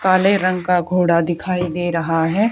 काले रंग का घोड़ा दिखाई दे रहा है।